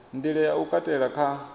nḓila ya u katela kha